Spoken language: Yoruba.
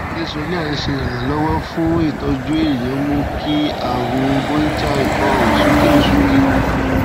ṣé xolair ńse iranlowo fun itoju èèyàn mú kí àrùn bronchial ikọ òsúkè òsúkè